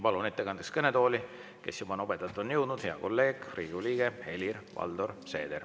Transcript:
Palun ettekandeks kõnetooli hea kolleegi, Riigikogu liikme Helir-Valdor Seedri, kes juba nobedalt on siia jõudnud.